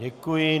Děkuji.